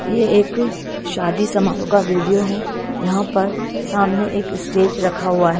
ये एक शादी समारोह का वीडियो है यहां पर सामने एक स्टेज रखा हुआ है।